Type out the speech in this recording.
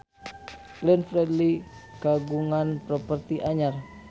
Glenn Fredly kagungan properti anyar